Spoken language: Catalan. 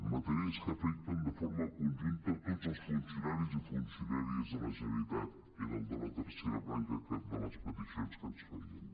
matèries que afecten de forma conjunta tots els funcionaris i funcionà·ries de la generalitat era el de la tercera branca aquesta de les peticions que ens fe·ien